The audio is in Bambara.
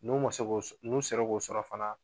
N'u ma se k'o sɔ, n'u sera k'o sɔrɔ fana